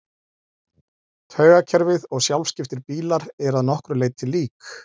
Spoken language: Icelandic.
Taugakerfið og sjálfskiptir bílar eru að nokkru leyti lík.